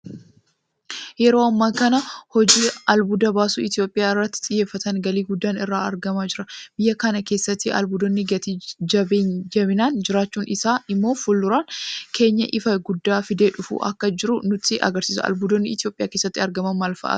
Yeroo ammaa hojii albuuda baasuu Itoophiyaan irratti xiyyeeffatteen galii guddaan irraa argamaa jira. Biyya kana keessatti albuudonni gati jabeeyyiin jiraachuun isaa immoo fuuldureen keenya ifa guddaa fidee dhufaa akka jiru nutti agarsiisa. Albuudonni Itoophiyaa keessatti argaman maalfa'aati?